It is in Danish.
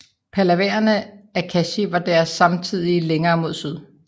Pallavaerne af Kanchi var deres samtidige længere mod syd